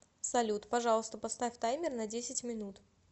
салют пожалуйста поставь таймер на десять минут